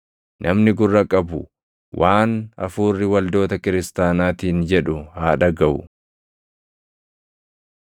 Namni gurra qabu waan Hafuurri waldoota kiristaanaatiin jedhu haa dhagaʼu.”